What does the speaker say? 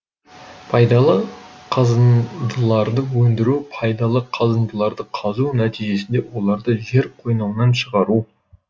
пайдалы қазындыларды өндіру пайдалы қазындыларды қазу нәтижесінде оларды жер қойнауынан шығару